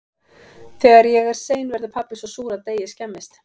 Þegar ég er sein verður pabbi svo súr að deigið skemmist.